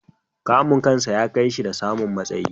Kamun kansa ya kai shi da samun matsayi.